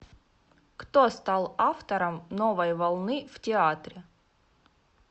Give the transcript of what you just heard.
кто стал автором новой волны в театре